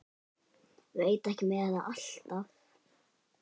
Veit ekki með þetta alltaf.